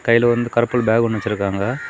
கைல வந்து கருப்பு கலர் பேக் ஒன்னு வச்சிருக்காங்க.